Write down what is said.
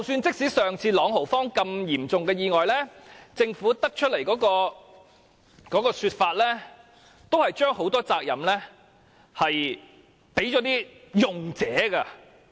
即使之前在朗豪坊發生的自動扶手電梯嚴重意外，政府的說法也是將很多責任放在使用者身上。